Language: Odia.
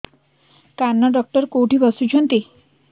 କାନ ଡକ୍ଟର କୋଉଠି ବସୁଛନ୍ତି